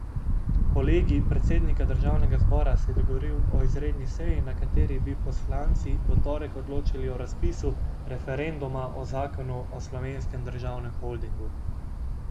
Kolegij predsednika državnega zbora se je dogovoril o izredni seji, na kateri bi poslanci v torek odločali o razpisu referenduma o zakonu o Slovenskem državnem holdingu.